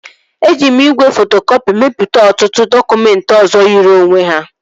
Eji m igwe fotokọpị mepụta ọtụtụ dọkụmentị ọzọ yiri onwe ha